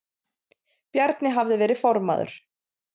Bjarni hafði verið formaður